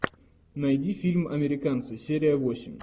найди фильм американцы серия восемь